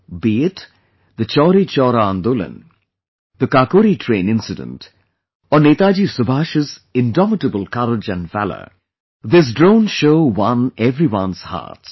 Be it ' Chauri Chaura Andolan ', the ' Kakori Train ' incident or Netaji Subhash's indomitable courage and valor, this Drone Show won everyone's hearts